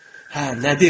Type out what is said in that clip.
Hə, nədir?